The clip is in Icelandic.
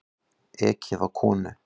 Ekið á konu